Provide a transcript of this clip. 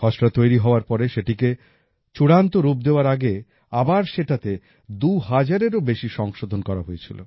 খসড়া তৈরি হওয়ার পরে সেটাকে চূড়ান্ত রূপ দেওয়ার আগে আবার সেটাতে দুহাজারেরও বেশি সংশোধন করা হয়েছিল